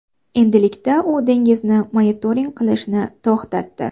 Endilikda u dengizni monitoring qilishni to‘xtatdi.